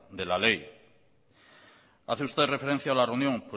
de la ley hace usted referencia a la reunión